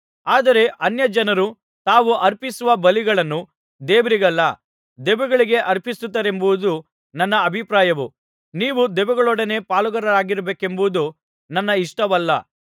ಆದರೆ ಅನ್ಯಜನರು ತಾವು ಅರ್ಪಿಸುವ ಬಲಿಗಳನ್ನು ದೇವರಿಗಲ್ಲ ದೆವ್ವಗಳಿಗೆ ಅರ್ಪಿಸುತ್ತಾರೆಂಬುದು ನನ್ನ ಅಭಿಪ್ರಾಯವು ನೀವು ದೆವ್ವಗಳೊಡನೆ ಪಾಲುಗಾರರಾಗಿರಬೇಕೆಂಬುದು ನನ್ನ ಇಷ್ಟವಲ್ಲ